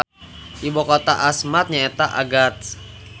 Ibukota Asmat nyaeta Agats